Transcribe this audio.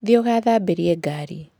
Thiĩ ũgathambĩrie ngari.